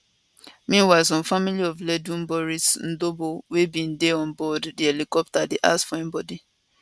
meanwhile family of ledum boris ndobor wey bin dey on board di helicopter dey ask for im bodi